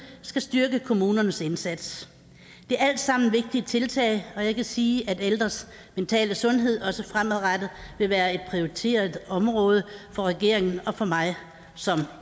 skal styrke kommunernes indsats det er alt sammen vigtige tiltag og jeg kan sige at ældres mentale sundhed også fremadrettet vil være et prioriteret område for regeringen og for mig som